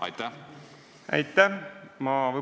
Aitäh!